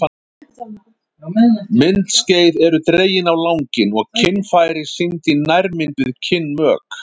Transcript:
Myndskeið eru dregin á langinn og kynfæri sýnd í nærmynd við kynmök.